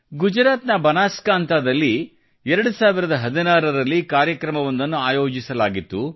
ಗುಜರಾತ್ನ ಬನಾಸ್ಕಾಂವತದಲ್ಲಿ 2016 ರಲ್ಲಿ ಕಾರ್ಯಕ್ರಮವೊಂದನ್ನು ಆಯೋಜಿಸಲಾಗಿತ್ತು